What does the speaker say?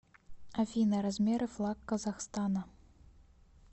афина размеры флаг казахстана